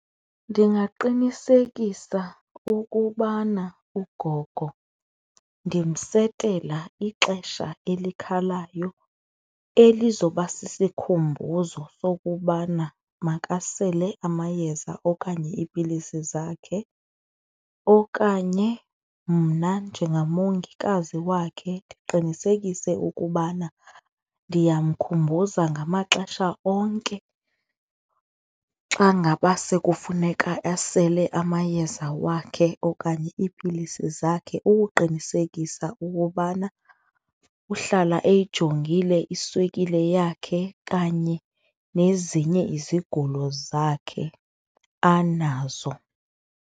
Ndingaqinisekisa ukubana ugogo ndimsetela ixesha elikhalayo elizoba sisikhumbuzo sokubana makasele amayeza okanye iipilisi zakhe okanye mna njengamongikazi wakhe ndiqinisekise ukubana ndiyamkhumbuza ngamaxesha onke xa ngaba sekufuneka asele amayeza wakhe okanye iipilisi zakhe, ukuqinisekisa ukubana uhlala eyijongile iswekile yakhe kanye nezinye izigulo zakhe anazo.